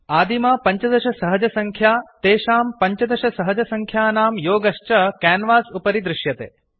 आदिमा 15 सहजसङ्ख्या तेषां 15 सहजसङ्ख्यानां योगश्च क्यान्वास् उपरि दृश्यते